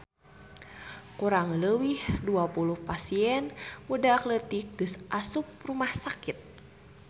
Kurang leuwih 20 pasien budak leutik geus asup rumah sakit